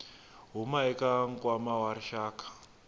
huma eka nkwama wa rixaka